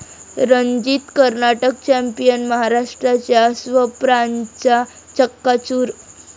Ranjit Karnataka champion, महाराष्ट्राच्या स्वप्नांचा चक्काचूर